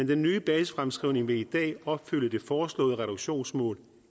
den nye basisfremskrivning vil i dag opfylde det foreslåede reduktionsmål